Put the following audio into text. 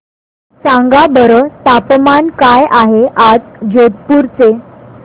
सांगा बरं तापमान काय आहे आज जोधपुर चे